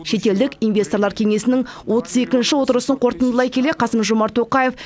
шетелдік инвесторлар кеңесінің отыз екінші отырысын қорытындылай келе қасым жомарт тоқаев